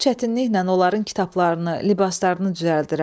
Çox çətinliklə onların kitablarını, libaslarını düzəldirəm.